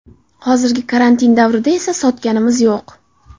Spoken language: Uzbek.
Hozirgi karantin davrida esa sotganimiz yo‘q.